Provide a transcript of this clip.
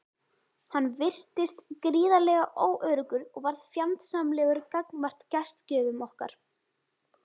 Hann virtist gríðarlega óöruggur og varð fjandsamlegur gagnvart gestgjöfum okkar.